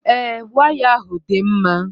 Ee, waya ahụ dị mma.